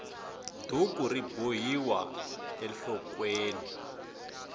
duku ri bohiwa enhlokweni